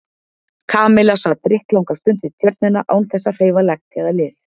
Kamilla sat drykklanga stund við Tjörnina án þess að hreyfa legg eða lið.